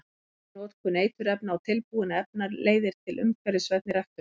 Minni notkun eiturefna og tilbúinna efna leiðir til umhverfisvænni ræktunar.